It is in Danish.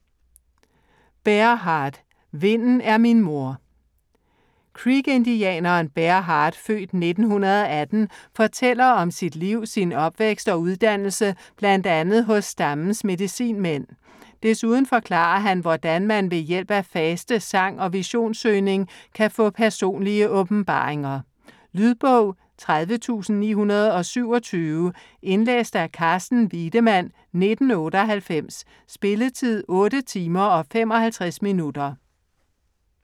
Bear Heart: Vinden er min moder Creek-indianeren Bear Heart (f. 1918) fortæller om sit liv, sin opvækst og uddannelse bl.a. hos stammens medicinmænd. Desuden forklarer han hvordan man ved hjælp af faste, sang og visionssøgning kan få personlige åbenbaringer. Lydbog 30927 Indlæst af Carsten Wiedemann, 1998. Spilletid: 8 timer, 55 minutter.